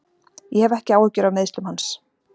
Ég hef ekki áhyggjur af meiðslum hans.